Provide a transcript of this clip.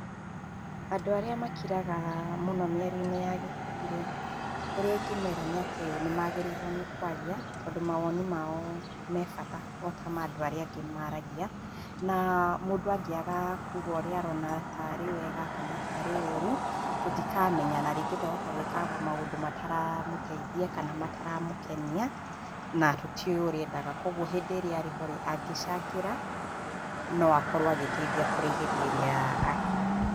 Andũ arĩa makiraga mũno mĩario-inĩ ya ikundi rĩ, ũrĩa ingemera nĩ atĩ nĩ maagĩrĩirwo nĩ kũaria, tondũ mawoni mao me bata o ta ma andũ maaragia. Na mũndũ angĩaga kuga ũrĩa arona tarĩ wega kana tarĩ ũru, tũtikamenya na rĩngĩ twahota gwĩka maũndũ mataramũteithia kana mataramũkenia na tũtiũĩ ũrĩa endaga. Kũoguo hĩndĩ ĩrĩa arĩ ho rĩ, angĩcangĩra, no akorwo agĩteithia kũrĩ hĩndĩ ĩrĩa akira.